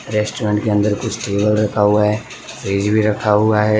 Restaurant के अंदर कुछ टेबल रखा हुआ है फ्रिज भी रखा हुआ है।